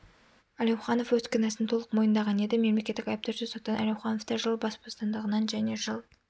әлеуханов өз кінәсін толық мойындаған еді мемлекеттік айыптаушы соттан әлеухановты жыл бас бостандығынан және жыл